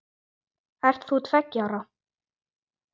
mun ég ekki hætta?